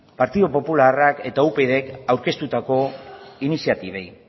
partidu popularrak eta upydk aurkeztutako iniziatibei